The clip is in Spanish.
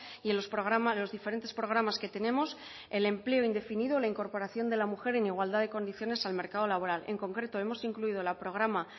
y en los programas los diferentes programas que tenemos el empleo indefinido la incorporación de la mujer en igualdad de condiciones al mercado laboral en concreto hemos incluido el programa